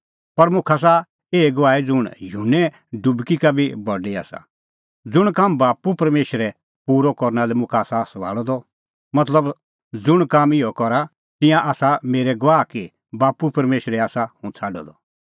पर मुखा आसा एही गवाही ज़ुंण युहन्ने गवाही का बी बडी आसा ज़ुंण काम बाप्पू परमेशरै पूरअ करना लै मुखा आसा सभाल़अ द मतलब ज़ुंण काम हुंह करा तिंयां आसा मेरै गवाह कि बाप्पू परमेशरै आसा हुंह छ़ाडअ द